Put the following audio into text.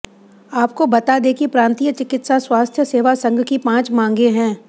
आपको बता दें कि प्रांतीय चिकित्सा स्वास्थ्य सेवा संघ की पांच मागें हैं